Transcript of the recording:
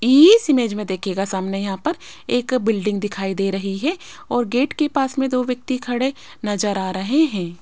इस इमेज मे देखियेगा सामने यहां पर एक बिल्डिंग दिखाई दे रही है और गेट के पास मे दो व्यक्ती खडे नज़र आ रहे है।